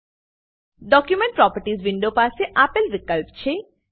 document properties window પાસે આપેલ વિકલ્પ છે